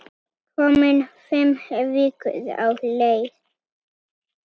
Komin fimm vikur á leið.